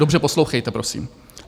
Dobře poslouchejte, prosím.